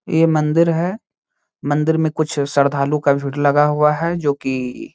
ये मंदिर है। मंदिर में कुछ श्रद्धालु का भीड़ लगा हुआ है जो कि --